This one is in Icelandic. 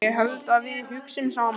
Ég held að við hugsum saman.